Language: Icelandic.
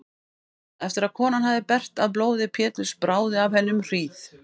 Eftir að konan hafði bergt af blóði Péturs bráði af henni um hríð.